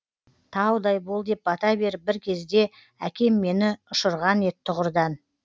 таудай бол деп бата беріп бір кезде әкем мені ұшырған ед тұғырдан